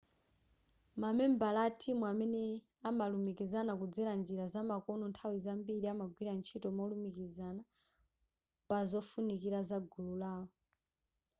mamembala atimu amene amalumikizana kudzera njira zamakono nthawi zambiri amagwira ntchito molumikizana pazofunikira zagulu lawo